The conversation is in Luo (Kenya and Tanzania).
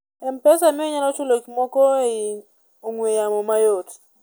mpesa miyo inyalo chul gik moko ei ong'we yamo mayot